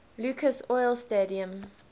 lucas oil stadium